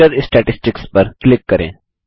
lecture statistics पर click करें